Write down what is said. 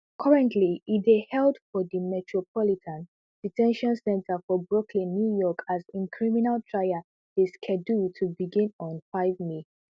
currently e dey held for di metropolitan de ten tion center for brooklyn new york as im criminal trial dey scheduled to begin on five may